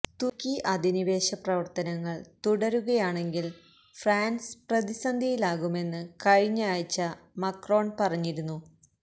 തുര്ക്കി അധിനിവേശ പ്രവര്ത്തനങ്ങള് തുടരുകയാണെങ്കില് ഫ്രാന്സ് പ്രതിസന്ധിയിലാകുമെന്ന് കഴിഞ്ഞയാഴ്ച മക്രോണ് പറഞ്ഞിരുന്നു